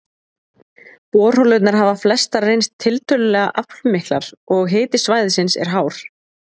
Borholurnar hafa flestar reynst tiltölulega aflmiklar, og hiti svæðisins er hár.